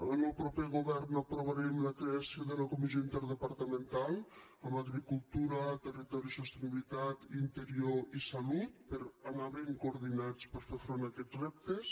en el proper govern aprovarem la creació de la comissió interdepartamental amb agricultura territori i sostenibilitat interior i salut per anar ben coordinats per fer front a aquests reptes